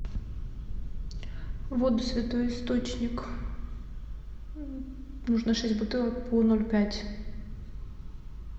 воду святой источник нужно шесть бутылок по ноль пять